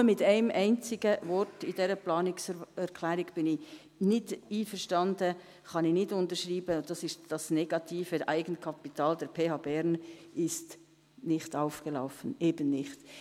Nur mit einem einzigen Wort in dieser Planungserklärung bin ich nicht einverstanden – dies kann ich nicht unterschreiben –, und das ist, dass das negative Eigenkapital der PH Bern nicht aufgelaufen ist, eben nicht.